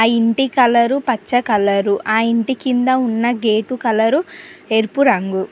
ఇంటి కలర్ పచ్చ కలర్ ఆ ఇంటి కింద ఉన్న గేట్ కలర్స్ ఎరుపు రంగు.